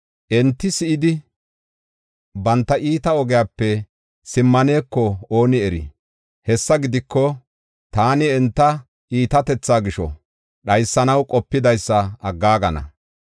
Enti si7idi, banta iita ogiyape simmaneko ooni eri. Hessa gidiko, taani enta iitatetha gisho dhaysanaw qopidaysa aggaagana.”